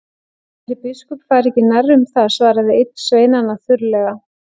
Ætli biskup fari ekki nærri um það, svaraði einn sveinanna þurrlega.